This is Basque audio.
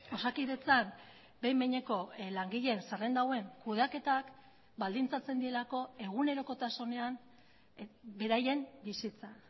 osakidetzan behin behineko langileen zerrenda hauen kudeaketak baldintzatzen dielako egunerokotasunean beraien bizitza